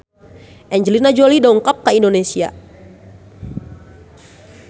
Angelina Jolie dongkap ka Indonesia